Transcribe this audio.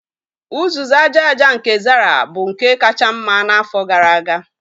Uzuzu aja aja nke Zara bụ nke kacha mma n'afọ gara aga